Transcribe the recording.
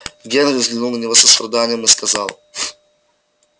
генри взглянул на него с состраданием и сказал